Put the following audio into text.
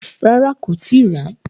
Rárá, kò tíì ràá.